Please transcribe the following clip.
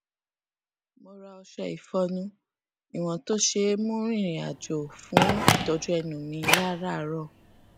mo ra ọṣẹ ìfọnu ìwọn tó ṣe é mú rin ìrìnàjò fún ìtọjú ẹnu mi láràárọ